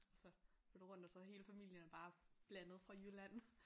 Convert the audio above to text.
Så lidt rundt og så er hele familien bare blandet fra Jylland